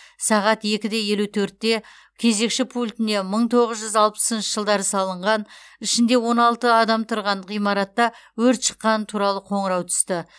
сағат екі де елу төртте кезекші пультіне мың тоғызжүз алпысыншы жылдары салынған ішінде он алты адам тұрған ғимаратта өрт шыққаны туралы қоңырау түсті